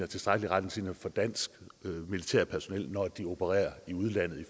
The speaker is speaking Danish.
tilstrækkelige retningslinjer for dansk militært personel når de opererer i udlandet